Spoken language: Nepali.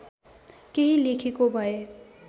केही लेखेको भए